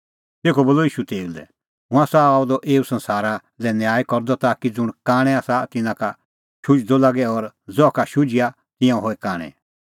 तेखअ बोलअ ईशू तेऊ लै हुंह आसा आअ द एऊ संसारा लै न्याय करदअ ताकि ज़ुंण कांणै आसा तिन्नां का शुझदअ लागे और ज़हा का शुझिआ तिंयां होए कांणै